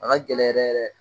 A ka gɛlɛn yɛrɛ yɛrɛ